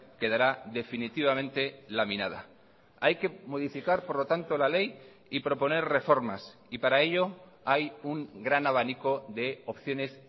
quedará definitivamente laminada hay que modificar por lo tanto la ley y proponer reformas y para ello hay un gran abanico de opciones